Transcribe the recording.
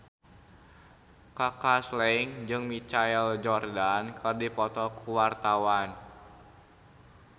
Kaka Slank jeung Michael Jordan keur dipoto ku wartawan